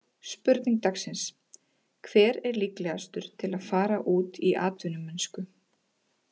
Spurning dagsins: Hver er líklegastur til að fara út í atvinnumennsku?